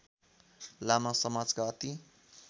लामा समाजका अति